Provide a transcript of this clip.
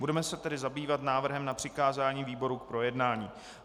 Budeme se tedy zabývat návrhem na přikázání výborům k projednání.